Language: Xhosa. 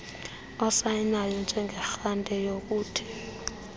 osayinayo njengearhente yokuthi